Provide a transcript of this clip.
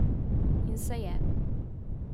In se je.